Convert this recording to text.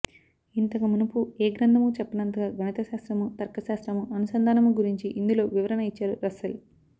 ఇంతకు మునుపు ఏగ్రంధము చెప్పనంతగా గణితశాస్త్రము తర్క శాస్త్రము అనుసంధానము గురుంచి ఇందులో వివరణ ఇచ్చారు రస్సెల్